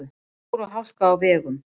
Snjór og hálka á vegum